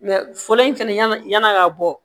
fɔlɔ in fɛnɛ yann'a ka bɔ